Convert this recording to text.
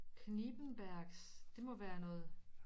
Knippenbergs det må være noget